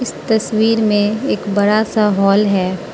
इस तस्वीर में एक बड़ा सा हॉल है।